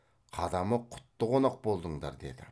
қадамы құтты қонақ болдыңдар деді